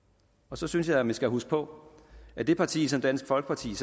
så synes jeg man skal huske på at det parti som dansk folkeparti